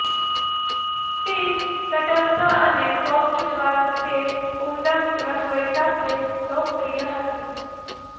spinach તટસ્થ અને soft સ્વાદ તે ઉમદા રસોઈ સાથે લોકપ્રિય હતી